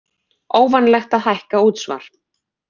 Óvanalegt að hækka útsvar